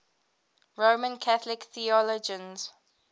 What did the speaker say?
roman catholic theologians